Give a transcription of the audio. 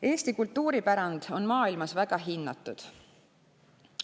Eesti kultuuripärand on maailmas väga hinnatud.